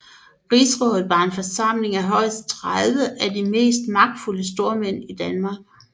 Rigsrådet var en forsamling af højst 30 af de mest magtfulde stormænd i Danmark